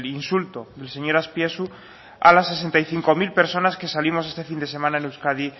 insulto del señor azpiazu a las sesenta y cinco mil personas que salimos este fin de semana en euskadi